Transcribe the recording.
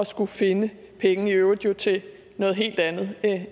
skulle finde pengene i øvrigt til noget helt andet